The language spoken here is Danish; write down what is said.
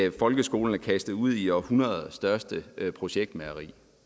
at folkeskolen er kastet ud i århundredets største projektmageri